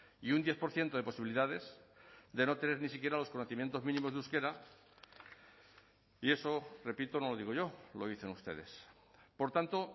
y un diez por ciento de posibilidades de no tener ni siquiera los conocimientos mínimos de euskera y eso repito no lo digo yo lo dicen ustedes por tanto